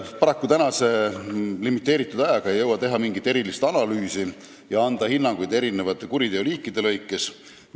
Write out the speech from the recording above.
Paraku ei jõu tänase limiteeritud ajaga teha mingit erilist analüüsi ega anda hinnanguid eri kuriteoliikide kohta.